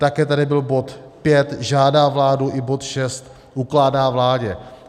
Také tady byl bod V - žádá vládu, i bod VI - ukládá vládě.